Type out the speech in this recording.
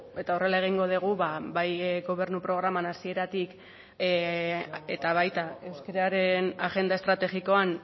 eta horrela egingo dugu bai gobernu programan hasieratik eta baita euskararen agenda estrategikoan